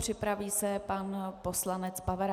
Připraví se pan poslanec Pavera.